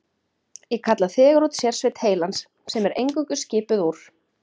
Ég kalla þegar út sérsveit heilans, sem er eingöngu skipuð úr